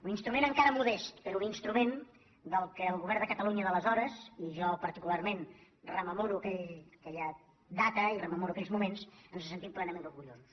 un instrument encara modest però un instrument del qual el govern de catalunya d’aleshores i jo particularment rememoro aquella data i rememoro aquells moments ens en sentim plenament orgullosos